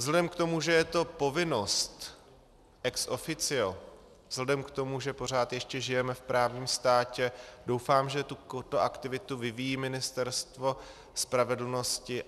Vzhledem k tomu, že je to povinnost ex officio, vzhledem k tomu, že pořád ještě žijeme v právním státě, doufám, že tuto aktivitu vyvíjí Ministerstvo spravedlnosti.